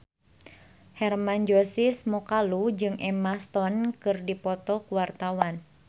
Hermann Josis Mokalu jeung Emma Stone keur dipoto ku wartawan